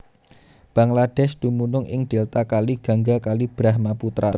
Bangladesh dumunung ing Delta Kali Gangga Kali Brahmaputra